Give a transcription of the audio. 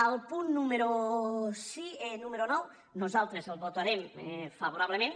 el punt número nou nosaltres el votarem favorablement